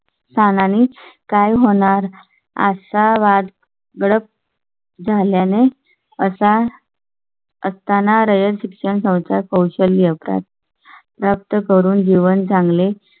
सानी काय होणार असा वाद? झाल्याने असा. असताना रयत शिक्षण संस्था कौशल्य प्रत प्राप्त करून जीवन चांगले